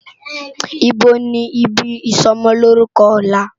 Ibó ni ibi isòmòmòlórùkò òlá?